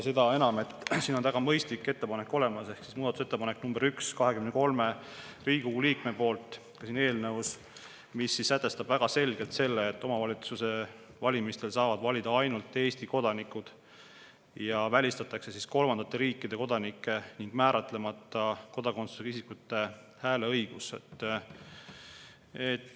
Seda enam, et on olemas väga mõistlik ettepanek ehk muudatusettepanek nr 1, 23 Riigikogu liikme, mis sätestab väga selgelt selle, et omavalitsuste valimistel saavad valida ainult Eesti kodanikud, ja välistatakse kolmandate riikide kodanike ning määratlemata kodakondsusega isikute hääleõigus.